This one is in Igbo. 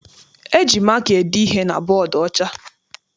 E ji maka ede ihe na bọdu ọcha.